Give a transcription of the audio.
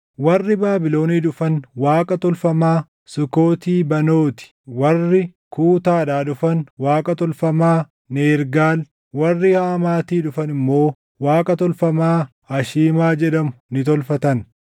Warri Baabilonii dhufan Waaqa tolfamaa Sukooti Banooti, warri Kuutaadhaa dhufan Waaqa tolfamaa Nergaal, warri Hamaatii dhufan immoo Waaqa tolfamaa Ashiimaa jedhamu ni tolfatan.